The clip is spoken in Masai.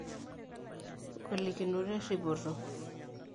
ngolikinot eripoto